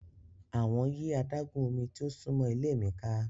Awọn yi adagun omi ti o sunmọ ile mi ka.